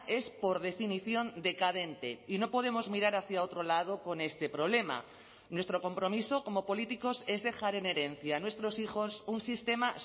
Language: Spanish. es por definición decadente y no podemos mirar hacia otro lado con este problema nuestro compromiso como políticos es dejar en herencia a nuestros hijos un sistema